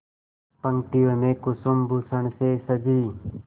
पंक्तियों में कुसुमभूषण से सजी